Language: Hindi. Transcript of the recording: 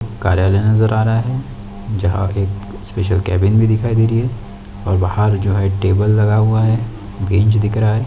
कार्यालय नज़र आ रहा है जहाँ एक स्पेशल केबिन भी दिखाई दे रही है और बाहर जो है टेबल लगा हुआ है बेंच दिख रहा है।